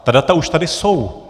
Ta data už tady jsou.